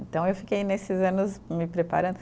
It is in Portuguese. Então, eu fiquei nesses anos me preparando.